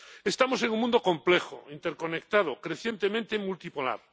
Estamos en un mundo complejo, interconectado, crecientemente multipolar.